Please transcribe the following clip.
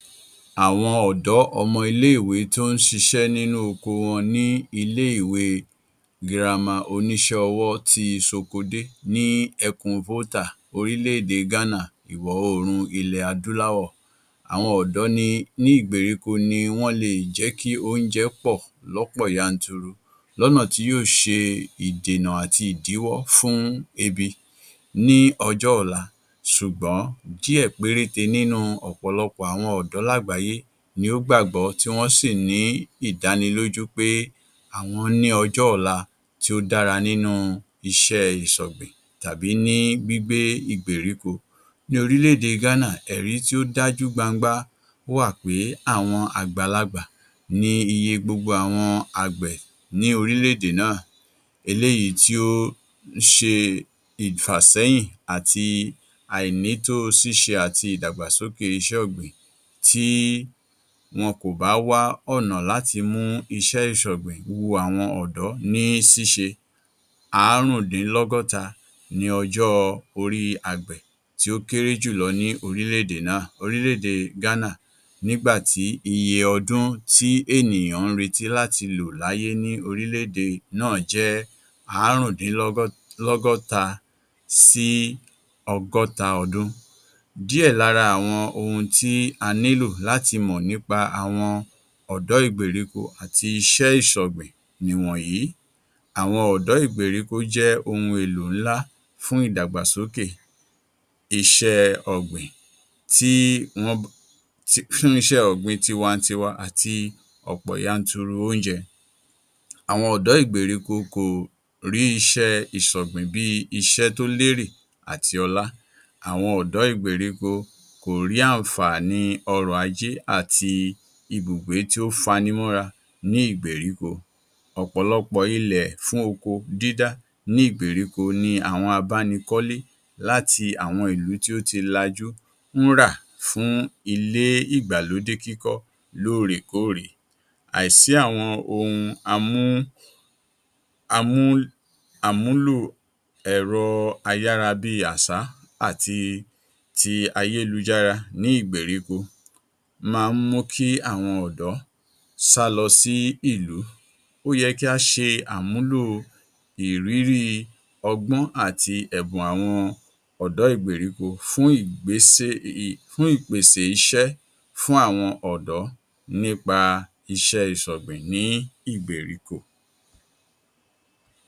Àwọn ọ̀dọ́ ọmọ iléèwé tí ó ń ṣiṣẹ́ nínú oko wọn ní ilé ìwe girama oníṣẹ́ ọwọ́ ti Sokodé ní ẹkùn orílẹ̀ èdè Gánà, iwọ̀ oòrùn ilẹ̀ adúláwọ. Àwọn ọ̀dọ́ ni ní Ìgbèríko ni wọ́n lè jẹ́ kí oúnjẹ pọ̀ lọ́pọ̀ yanturu lọ́nà tí yóò ṣe ìdènà àti ìdíwọ́ fún ebi ní ọjọ́ ọ̀la ṣùgbọ́n díẹ̀ péréte nínú ọ̀pọ̀lọpọ̀ àwọn ọ̀dọ́ láàgbáyé ni ó gbàgbọ́ tí wọ́n sì ní ìdánilójú pé àwọn ni ọjọ́ọ̀la tí ó dára nínú iṣẹ́ ìṣọ̀gbìn tàbí ní gbígbé Ìgbèríko. Ní orílẹ̀ èdè Gánà, ẹ̀rí tí ó dájú gbangba wà pé àwọn àgbàlagbà ni iye gbogbo àwọn àgbẹ̀ ní orílẹ̀ èdè náà. Eléyìí tí ó ṣe ìfàsẹ́yìn àti àìnítóo ṣíṣe àti ìdàgbàsókè iṣẹ́ ọ̀gbìn tí wọn kò bá wá ọ̀nà láti mú iṣẹ́ ìṣọ̀gbìn wu àwọn ọ̀dọ́ ní ṣíṣe. Áárùndìnlọ́gọ́ta ní ọjọ́ orí àgbẹ̀ tí ó kéré jù lọ ni orílẹ̀ èdè náà Orílẹ̀ èdè Gánà nígbà tí iye ọdún tí ènìyàn ń retí láti lò láyé ní orílẹ̀ èdè náà jẹ́ áárùndínlọ́gọ́lọ́gọ́ta sí ọgọ́ta ọdún. Díẹ̀ lára àwọn ohun tí a nílò láti mọ̀ nípa àwọn ọ̀dọ́ Ìgbèríko àti iṣẹ́ ìṣọ̀gbìn nìwọ̀nyí: -àwọn ọ̀dọ́ Ìgbèríko jẹ́ ohun èlò ńlá fún ìdàgbàsókè iṣẹ́ẹ ọ̀gbìn tí wọ́n um iṣẹ́ ọ̀gbìn tiwa-n-tiwa àti ọ̀pọ̀ yanturu oúnjẹ. -àwọn ọ̀dọ́ Ìgbèríko kò rí iṣẹ́ ìṣọ̀gbìn bíi iṣẹ́ tó lérè àti ọlá. -àwọn ọ̀dọ́ Ìgbèríko kò rí àǹfààní ọrọ̀ ajé àti ibùgbé tí ó fanimọ́ra ní Ìgbèríko. Ọ̀pọ̀lọpọ̀ ilẹ̀ fún oko dídá ní Ìgbèríko ni àwọn abánikọ́lé láti àwọn ìlú tí o ti lajú ń rà fún ilé ìgbàlódé kíkọ́ lóòrèkóòrè. -àìsí àwọn ohun amú amú àmúlù ẹ̀rọ ayárabíàṣá àti ti ayélujára ní Ìgbèríko máa ń mú kí àwọn ọ̀dọ́ sálọ sí ìlú. Ó yẹ kí á ṣe àmúlò ìrírí, ọgbọ́n àti ẹ̀bùn àwọn ọ̀dọ́ Ìgbèríko fún ìgbésè um fún ìpèsè iṣẹ́ fun àwọn ọ̀dọ́ nípa iṣẹ́ ìṣọ̀gbìn ní Ìgbèríko.